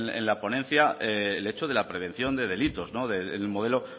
en la ponencia el hecho de la prevención de delitos en el modelo